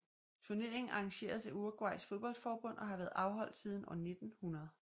Turneringen arrangeres af Uruguays fodboldforbund og har været afholdt siden år 1900